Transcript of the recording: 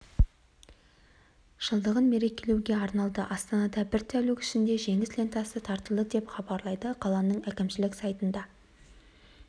жылдығын мерекелеуге арналды астанада бір тәулік ішінде жеңіс лентасы таратылды деп хабарлайды қаланың әкімшілік сайтына